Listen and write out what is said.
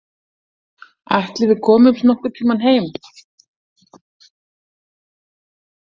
Ætli við komumst nokkurn tíma heim.